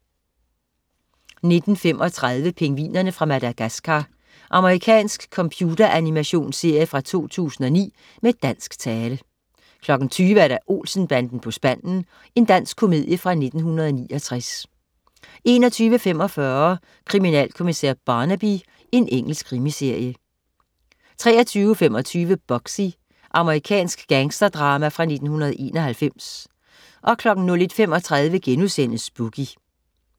19.35 Pingvinerne fra Madagascar. Amerikansk computeranimations-serie fra 2009 med dansk tale 20.00 Olsen-banden på spanden. Dansk komedie fra 1969 21.45 Kriminalkommissær Barnaby. Engelsk krimiserie 23.25 Bugsy. Amerikansk gangsterdrama fra 1991 01.35 Boogie*